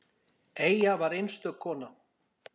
Eyja var einstök kona.